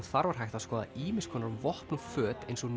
þar var hægt að skoða ýmiss konar vopn og föt eins og